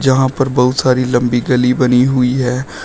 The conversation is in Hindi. यहां पर बहुत सारी लंबी गली बनी हुई है।